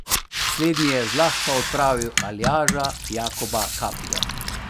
Slednji je zlahka odpravil Aljaža Jakoba Kapljo.